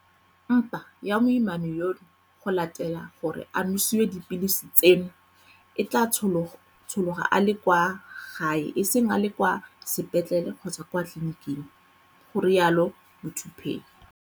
Mpa ya moimana yono go latela gore a nosiwe dipilisi tseno e tla tshologa a le kwa gae e seng a le kwa sepetlele kgotsa kwa tleliniking, ga rialo Muthuphei.